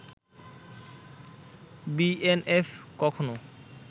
BNF কখনও